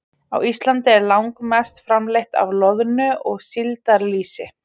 Á Íslandi er langmest framleitt af loðnu- og síldarlýsi.